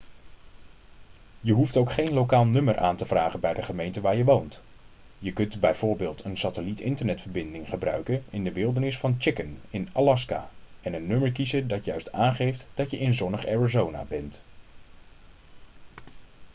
je hoeft ook geen lokaal nummer aan te vragen bij de gemeente waar je woont je kunt bijv een satelliet-internetverbinding gebruiken in de wildernis van chicken in alaska en een nummer kiezen dat juist aangeeft dat je in zonnig arizona bent